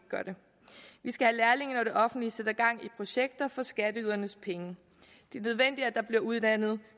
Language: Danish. skal have lærlinge når det offentlige sætter gang i projekter for skatteydernes penge det er nødvendigt at der bliver uddannet